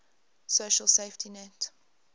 social safety net